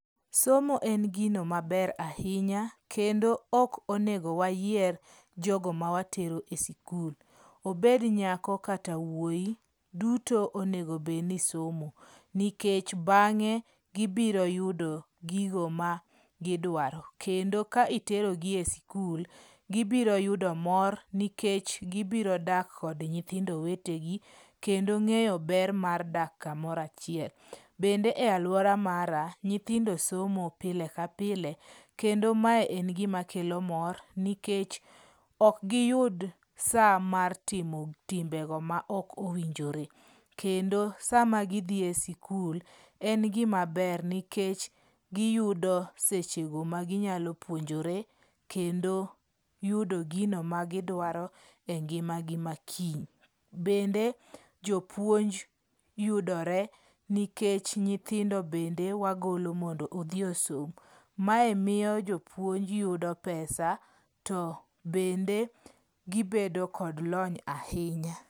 Somo en gino maber ahinya kendo ok onego wayier jogo mawatero e skul. Obed nyako kata wuoyi, duto onego bed ni somo. Nikech bang'e gibiro yudo gigo ma gidwaro. Kendo ka itero gi e skul, gibiro yudo mor nikech gibiro dak kod nyithindo wetegi, kendo ng'eyo ber mar dak kamoro achiel. Bende e alwora mara nyithindo somo pile ka pile. Kendo mae en gima kelo mor nikech ok giyud sa mar timo timbego maok owinjore. Kendo sama gidhi e skul,. en gima ber nikech giyudo sechego ma ginyalo puonjore kendo yudo gino ma gidwaro engima gi makiny. Bende jopuonj yudore nikech nyithindo bende wagolo mondo odhi osom. Mae miyo jopuonj yudo pesa to bende gibedo kod lony ahinya.